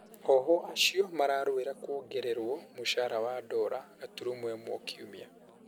Ohwo acio mararũĩra kũongererũo mũcara wa dora gaturumo ĩmwe o kiumia.